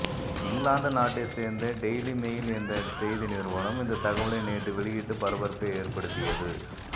இங்கிலாந்து நாட்டை சேர்ந்த daily mail என்ற செய்தி நிறுவனம் இந்த தகவலை நேற்று வெளியிட்டு பரபரப்பை ஏற்படுத்தியது